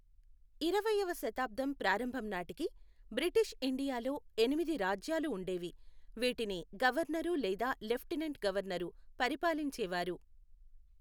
ఇరవైవ శతాబ్దం ప్రారంభం నాటికి, బ్రిటీష్ ఇండియాలో ఎనిమిది రాజ్యాలు ఉండేవి, వీటిని గవర్నరు లేదా లెఫ్టినెంట్ గవర్నరు పరిపాలించేవారు.